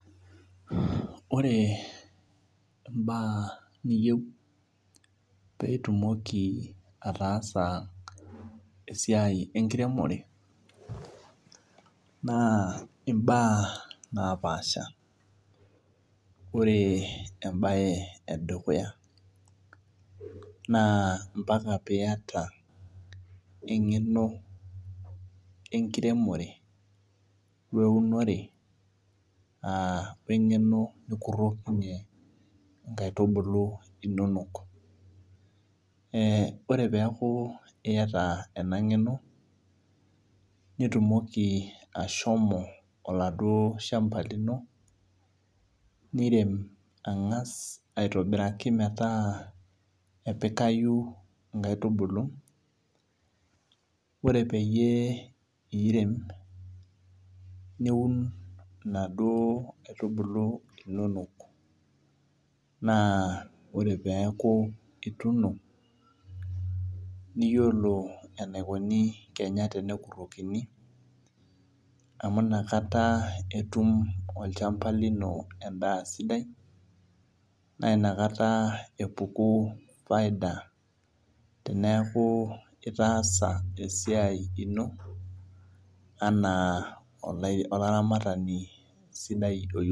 Ore mbaa niyieu pitumoki ataasa esiai enkiremore na imbaa napaasha ore embae edukuya na mbaka piata engeno enkiremore weunore aa wengeno nikurokinye nkaitubulu inonok ee ore peaku iata enangeno nitumoki ashomo oladuo shamba lino nirem angas aitobiraki metaa epikayi nkaitubulu ore peyie iremoki na ore peaku ituuno niyiolo enikuni kenya pekurokini amu inakata etum olchamba lino endaa sidai na nakata epuku faida teneaku itaasa esiai ino ana olaramatani sidai.